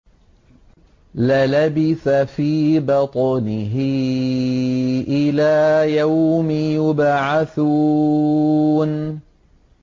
لَلَبِثَ فِي بَطْنِهِ إِلَىٰ يَوْمِ يُبْعَثُونَ